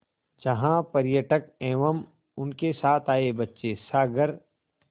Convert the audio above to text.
जहाँ पर्यटक एवं उनके साथ आए बच्चे सागर